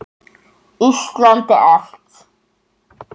Íslandi allt!